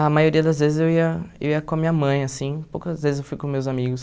A maioria das vezes eu ia eu ia com a minha mãe, assim, poucas vezes eu fui com meus amigos.